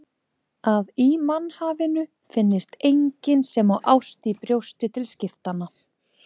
Að í mannhafinu finnist enginn sem á ást í brjósti til skiptanna.